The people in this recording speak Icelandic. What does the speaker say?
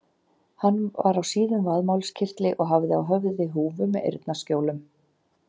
Hann var á síðum vaðmálskyrtli og hafði á höfði húfu með eyrnaskjólum.